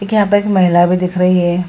एक यहां पर एक महिला भी दिख रही है।